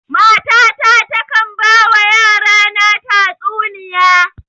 Mata ta takan ba wa yara na tatsuniya